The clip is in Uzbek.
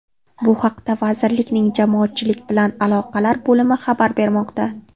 Bu haqda vazirlikning Jamoatchilik bilan aloqalar bo‘limi xabar bermoqda.